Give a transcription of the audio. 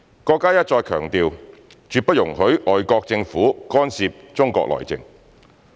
國家一再強調，絕不容許外國政府干涉中國內政。